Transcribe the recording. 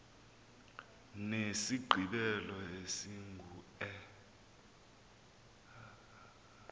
nesigqibelo esingu e